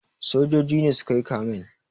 Sojoji ne su ka yi kamen.